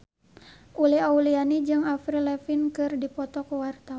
Uli Auliani jeung Avril Lavigne keur dipoto ku wartawan